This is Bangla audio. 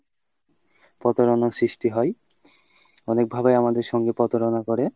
প্রতারণার সৃস্টি হয় অনেকভাবে আমাদের সাথে প্রতারণা করে।